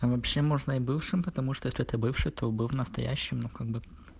а вообще можно и бывшим потому что это бывший кто был настоящим ну как бы